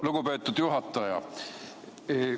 Lugupeetud juhataja!